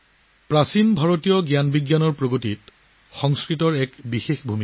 ভাৰতীয় জ্ঞান আৰু বিজ্ঞানৰ অগ্ৰগতিত সংস্কৃতৰ ডাঙৰ ভূমিকা আছে